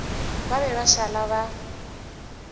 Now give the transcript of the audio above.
ba be ba šala ba